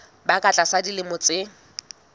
ba ka tlasa dilemo tse